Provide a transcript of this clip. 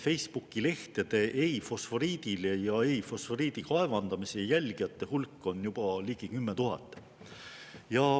Facebooki-lehtede "Ei fosforiidile" ja "Ei fosforiidi kaevandamisele" jälgijate hulk on juba ligi 10 000.